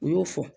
U y'o fɔ